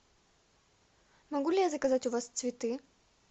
могу ли я заказать у вас цветы